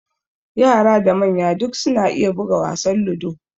Yara da manya duk suna iya buga wasan ludo.